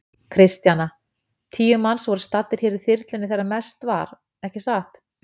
Kristjana: Tíu manns voru staddir hér í þyrlunni þegar mest var, ekki satt?